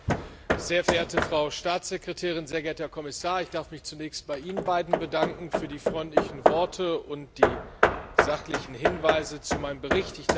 Herr Präsident, sehr verehrte Frau Staatssekretärin, sehr geehrter Kommissar! Ich darf mich zunächst bei Ihnen beiden bedanken für die freundlichen Worte und die sachlichen Hinweise zu meinem Bericht.